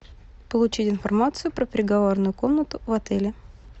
получить информацию про переговорную комнату в отеле